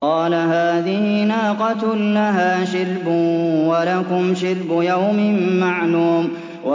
قَالَ هَٰذِهِ نَاقَةٌ لَّهَا شِرْبٌ وَلَكُمْ شِرْبُ يَوْمٍ مَّعْلُومٍ